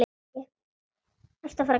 Ertu að fara að gráta?